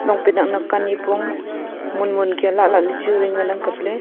long pant nak nak ka nyipong mon mon kia lah lah ley chu vai ngan ang kapley.